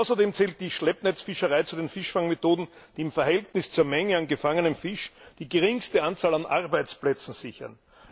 Außerdem zählt die Schleppnetzfischerei zu den Fischfangmethoden, die im Verhältnis zur Menge an gefangenem Fisch die geringste Anzahl an Arbeitsplätzen sichern.